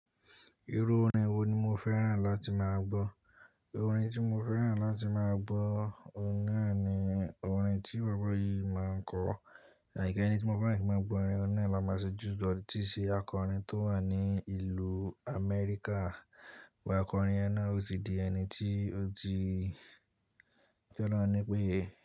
Irú orin wo ni mo fẹ́ràn láti máa gbọ́? Orin tí mo fẹ́ràn láti máa gbọ́, orin náà ni orin tí bàbá yìí máa ń kọ. Like enití mo fẹ́ràn kí màá gbọ orin e náà máa ṣe Juice, tí n ṣe akọrin tó wà ní ìlú Amẹ́ríkà. Sugbon akọrin yen náà ò tì di ẹni tí ó ti jẹ́ ọlọ́run ni pé.